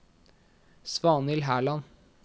Svanhild Herland